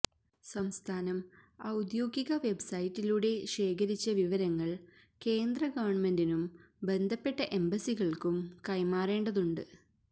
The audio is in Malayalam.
സംസ്ഥാനം ഔദ്യോഗിക വെബ്സൈറ്റിലൂടെ ശേഖരിച്ച വിവരങ്ങള് കേന്ദ്ര ഗവണ്മെന്റിനും ബന്ധപ്പെട്ട എംബസികള്ക്കും കൈമാറേണ്ടതുണ്ട്